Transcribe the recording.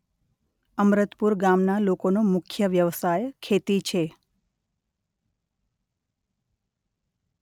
અમરતપુર ગામના લોકોનો મુખ્ય વ્યવસાય ખેતી છે.